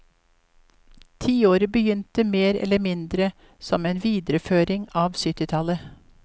Tiåret begynte mer eller mindre som en videreføring av syttitallet.